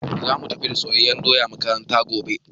Zamu tafi da soyayyen doya makaranta gobe